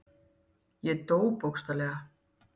Ég dó, bókstaflega.